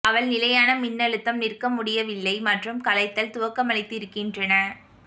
அவள் நிலையான மின்னழுத்தம் நிற்க முடியவில்லை மற்றும் கலைத்தல் துவக்கமளித்திருக்கின்றன